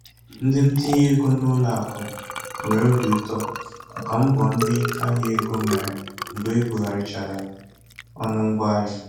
Ndị ntinye ego n'ụlọ akụ nwere óbì ụtọ màkà mbọ ndị ahịa égo mere mgbe ebugharịchara ọnụ ngwa ahịa.